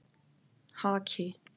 Haki